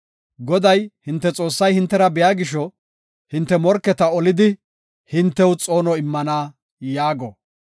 Goday, hinte Xoossay hintera biya gisho, hinte morketa olidi, hintew xoono immana” yaago.